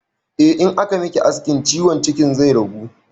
Eh, in aka miki aikin ciwon cikin zai ragu